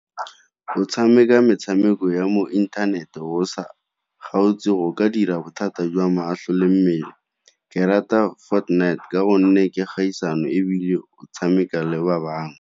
Go tshameka metshameko ya mo inthanete o sa o ka dira bothata jwa matlho le mmele. Ke rata ka gonne ke kgaisano ebile o tshameka le ba bangwe.